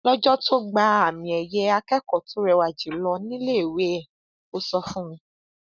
lọjọ tó gba àmiẹyẹ akẹkọọ tó rẹwà jù lọ níléèwé ẹ ó sọ fún mi